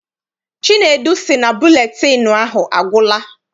Chinedu sị na buletịịnụ ahụ agwụla.